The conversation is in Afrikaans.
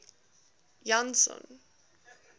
janson